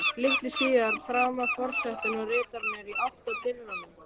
Litlu síðar þramma forsetinn og ritararnir í átt að dyrunum.